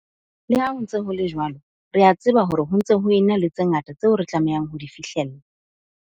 Le ha ho ntse ho le jwalo, re a tseba hore ho ntse ho ena le tse ngata tseo re tlamehang ho di fihlella.